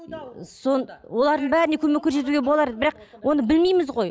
олардың бәріне көмек көрсетуге болар еді бірақ оны білмейміз ғой